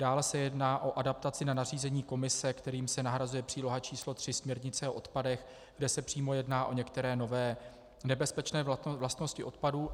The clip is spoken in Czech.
Dále se jedná o adaptaci na nařízení Komise, kterým se nahrazuje příloha č. 3 směrnice o odpadech, kde se přímo jedná o některé nové nebezpečné vlastnosti odpadů.